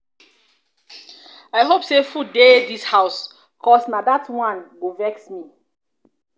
i hope say food dey this house cause na dat dat one go vex me.